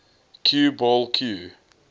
cue ball cue